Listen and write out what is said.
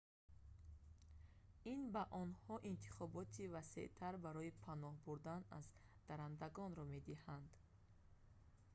ин ба онҳо интихоби васеътар барои паноҳ бурдан аз даррандагонро медиҳад